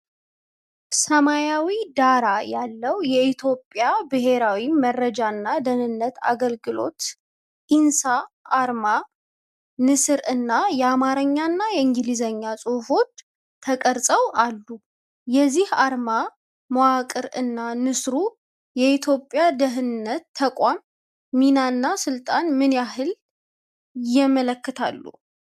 ሰማያዊ ዳራ ያለው የኢትዮጵያ ብሄራዊ መረጃና ደህንነት አገልግሎት (NISS) አርማ፣ ንስር እና የአማርኛና የእንግሊዝኛ ጽሁፎች ተቀርፀው አሉ፤ የዚህ አርማ መዋቅር እና ንስሩ የኢትዮጵያን የደህንነት ተቋም ሚናና ስልጣን ምን ያህል ያመለክታሉ?